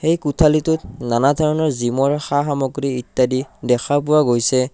এই কোঠালীটোত নানা ধৰণৰ জিমৰ সা-সামগ্ৰী ইত্যাদি দেখা পোৱা গৈছে।